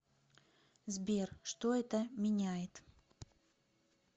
сбер что это меняет